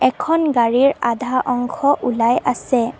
এখন গাড়ীৰ আধা অংশ ওলাই আছে।